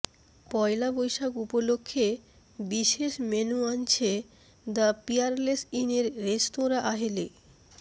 পয়লা বৈশাখ উপলক্ষ্যে বিশেষ মেনু আনছে দ্য পিয়ারলেস ইনের রেস্তোরাঁ আহেলি